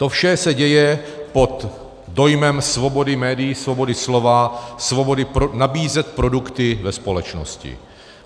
To vše se děje pod dojmem svobody médií, svobody slova, svobody nabízet produkty ve společnosti.